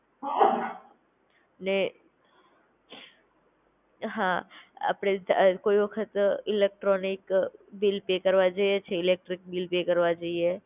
ને હા આપડે જાર કોઈ વખત ઇલેક્ટ્રોનિક બિલ પે કરવા જઈએ છીએ ઇલેક્ટ્રિક બિલ પે કરવા જઈએ